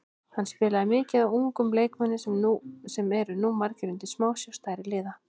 Hann spilaði mikið á ungum leikmönnum sem eru nú margir undir smásjá stærri liða.